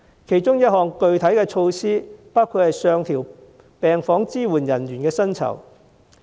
其中一項具體措施包括上調病房支援人員薪酬。